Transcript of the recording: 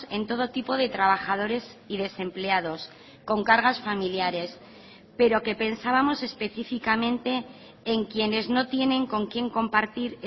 en todo tipo de trabajadores y desempleados con cargas familiares pero que pensábamos específicamente en quienes no tienen con quien compartir